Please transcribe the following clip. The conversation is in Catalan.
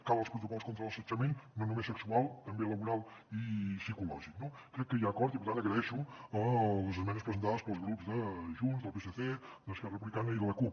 calen els protocols contra l’assetjament no només sexual també laboral i psicològic no crec que hi ha acord i per tant agraeixo les esmenes presentades pels grups de junts del psc d’esquerra republicana i de la cup